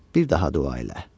Bir daha dua elə.